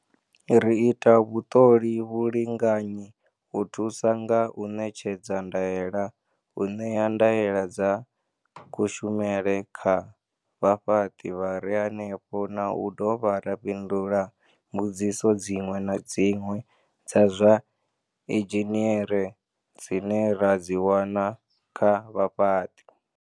Ri ita vhuṱoli, vhulinganyi, u thusa nga u ṋetshedza ndaela, u ṋea ndaela dza kushumele kha vhafhaṱi vha re henefho na u dovha ra fhindula mbudziso dziṅwe na dziṅwe dza zwa inzhiniere dzine ra dzi wana kha vhafhaṱi.